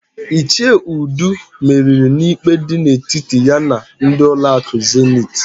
Ichie Udu meriri n'ikpe dị n'etiti ya na ndị ụlọakụ Zenit.